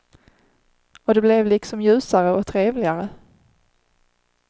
Och det blev liksom ljusare och trevligare.